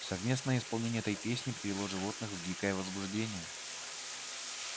совместное исполнение этой песни привело животных в дикое возбуждение